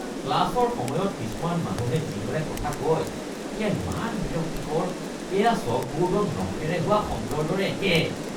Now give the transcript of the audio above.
ক্লাছৰ সময়ত কিছুমান মানুহে যিদৰে কথা কয় সেয়া ইমান বিৰক্তিকৰ; এয়া চকবোৰ্ডত নখেৰে হোৱা শব্দৰ দৰে একে।